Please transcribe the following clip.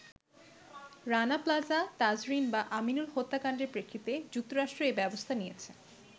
“Rana Plaza, Tazreen বা আমিনুল হত্যাকাণ্ডের প্রেক্ষিতে যুক্তরাষ্ট্র এ ব্যবস্থা নিয়েছে।